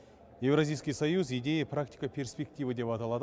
евразийский союз идеи практика перспективы деп аталады